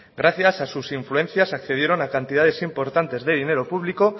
gracias a sus influencias accedieron a cantidades importantes de dinero público